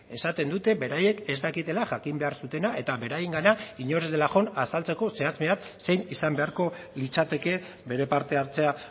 esaten dute beraiek ez dakitela jakin behar zutena eta beraiengana inor ez dela joan azaltzeko zehatz mehatz zein izan beharko litzateke bere partehartzea